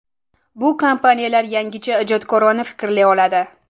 Bu kompaniyalar yangicha – ijodkorona fikrlay oladi.